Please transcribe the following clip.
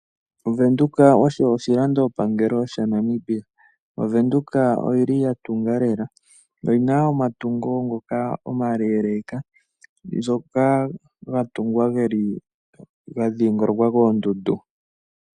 OVenduka osho oshilandopangelo shaNamibia. OVenduka oyili ya tunga lela, oyina omatungo ngoka omaleeleka, ngoka ga tungwa geli ga dhingolokwa koondundu.